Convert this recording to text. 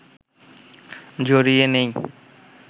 জড়িয়ে নিই